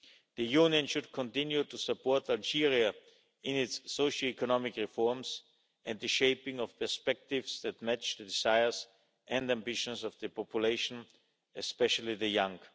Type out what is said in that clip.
The Union should continue to support Algeria in its socio economic reforms and the shaping of perspectives that match the desires and ambitions of the population, especially the young.